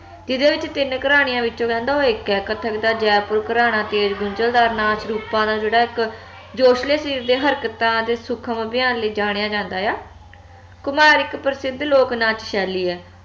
ਜਿਹਦੇ ਵਿੱਚ ਤਿੰਨ ਘਰਾਣਿਆਂ ਵਿਚੋਂ ਕਹਿੰਦਾ ਉਹ ਇਕ ਆ ਕਥਕ ਦਾ ਜੈਪੁਰ ਘਰਾਣਾ ਤੇਜ ਗੁੰਜਲਦਾਰ ਨਾਚ ਰੂਪਾਂ ਦਾ ਜਿਹੜਾ ਇਕ ਜੋਸ਼ਲੇ ਸ਼ਰੀਰ ਦੇ ਹਰਕਤਾਂ ਤੇ ਸੂਖਮ ਅਭਿਆਨ ਲਈ ਜਾਣੀਆ ਜਾਂਦਾ ਆ ਕੁਮਾਹਰ ਇਕ ਪ੍ਰਸਿੱਧ ਲੋਕ ਨਾਥ ਸ਼ੈਲੀ ਆ